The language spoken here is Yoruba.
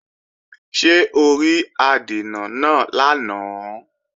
Ṣé o rí adènà náà lánàá?